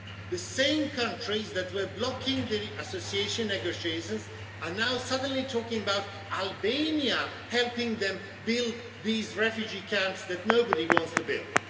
The same countries that were blocking the association negotiations are now suddenly talking about Albania helping them build these refugee camps that nobody wants to build.